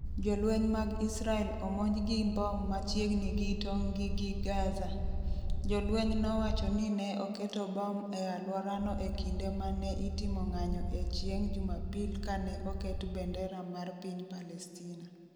Jolweny mag Israel omonj gi mbom machiegni gi tong’ gi gi Gaza Jolweny nowacho ni ne oketo bom e alworano e kinde ma ne itimo ng’anyo e chieng’ Jumapil kane oket bendera mar piny Palestina.